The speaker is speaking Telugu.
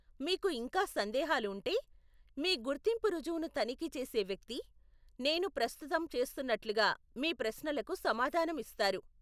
మీకు ఇంకా సందేహాలు ఉంటే, మీ గుర్తింపు రుజువును తనిఖీ చేసే వ్యక్తి, నేను ప్రస్తుతం చేస్తున్నట్లుగా, మీ ప్రశ్నలకు సమాధానం ఇస్తారు.